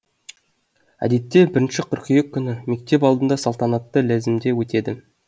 әдетте бірінші қыркүйек күні мектеп алдында салтанатты ләзімде өтеді